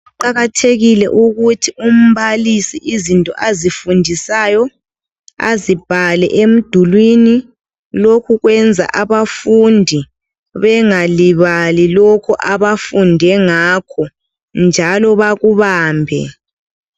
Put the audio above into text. Kuqakathekile ukuthi umbalisi izinto azifundisayo azibhale emdulwini. Lokhu kwenza abafundi bengalibali lokho abafunde ngakho, njalo bakubambe.